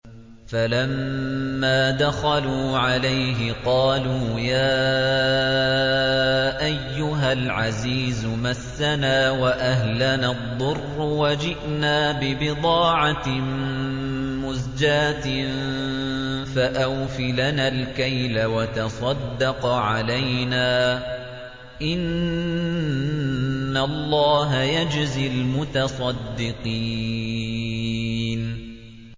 فَلَمَّا دَخَلُوا عَلَيْهِ قَالُوا يَا أَيُّهَا الْعَزِيزُ مَسَّنَا وَأَهْلَنَا الضُّرُّ وَجِئْنَا بِبِضَاعَةٍ مُّزْجَاةٍ فَأَوْفِ لَنَا الْكَيْلَ وَتَصَدَّقْ عَلَيْنَا ۖ إِنَّ اللَّهَ يَجْزِي الْمُتَصَدِّقِينَ